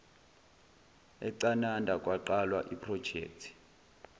ecanada kwaqalwa iprojekthi